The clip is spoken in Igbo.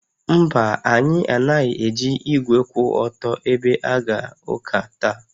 Mba, anyị anaghị eji igwe kwụ otu ebe aga ụka taa